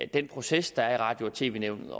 den proces der er i radio og tv nævnet